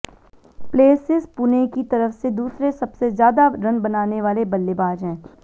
Plessis Pune की तरफ से दूसरे सबसे ज्यादा रन बनाने वाले बल्लेबाज हैं